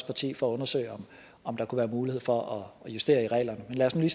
parti for at undersøge om der kunne være mulighed for at justere i reglerne men lad os nu